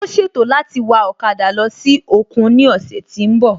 Ó ṣètò láti wa ọ̀kada lọ sí òkun ní òsè tí n bò